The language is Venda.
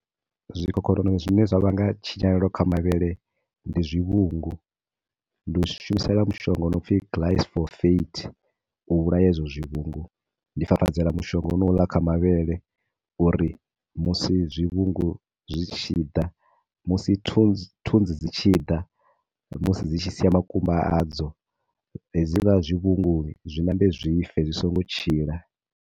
Zwikhokhonono zwine zwa vhanga tshinyalelo kha mavhele ndi zwivhungu, ndi u shumisela mushonga wo no pfi glysophate, u vhulaya hezwo zwi vhungu, ndi fafadzela mushonga honouḽa kha mavhele uri musi zwivhungu zwi tshi ḓa, musi thu, thunzi dzi tshi ḓa, musi dzi tshi sia makumba adzo, he zwiḽa zwi vhungu zwi ṋambe zwife, zwi songo tshila.